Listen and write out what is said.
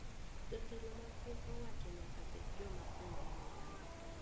Jotelo mag piny owacho nyaka bed joma onge mibadhi